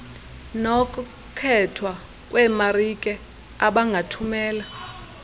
nokkhethwa kweemarike abangathumela